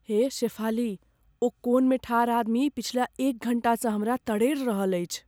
हे शेफाली, ओ कोनमे ठाढ़ आदमी पछिला एक घण्टासँ हमरा तरेड़ रहल अछि।